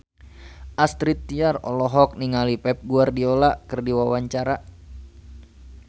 Astrid Tiar olohok ningali Pep Guardiola keur diwawancara